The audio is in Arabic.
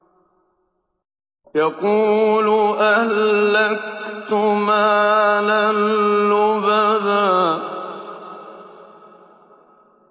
يَقُولُ أَهْلَكْتُ مَالًا لُّبَدًا